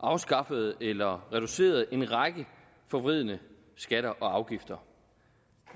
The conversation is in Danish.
afskaffet eller reduceret en række forvridende skatter og afgifter